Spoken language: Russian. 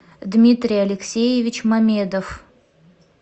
дмитрий алексеевич мамедов